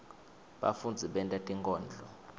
bafundzi benta tinkondlo